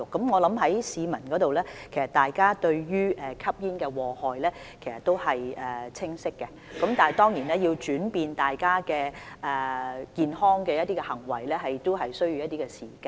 我認為市民對於吸煙的禍害有清晰了解，但是，要改變吸煙人士的行為當然需要一些時間。